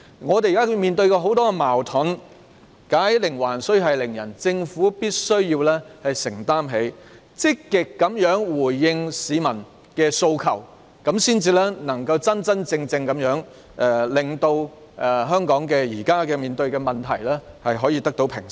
我們現在面對很多矛盾，"解鈴還須繫鈴人"，政府必須積極回應市民的訴求，這樣才能真正令香港當前的問題得到平息。